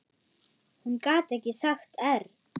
Hún gat ekki sagt err.